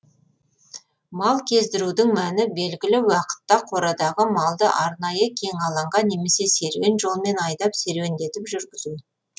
мал кездірудің мәні белгілі уақытта қорадағы малды арнайы кең алаңға немесе серуен жолмен айдап серуеңдетіп жүргізу